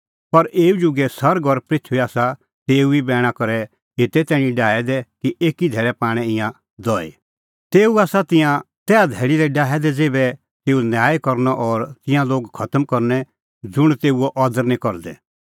पर एऊ जुगे सरग और पृथूई आसा तेऊ ई बैणा करै एते तैणीं डाहै दै कि एकी धैल़ै पाणै ईंयां दहई तेऊ आसा तिंयां तैहा धैल़ी तैणीं डाहै दै ज़ेभै तेऊ न्याय करनअ और तिंयां लोग खतम करनै ज़ुंण तेऊओ अदर निं करदै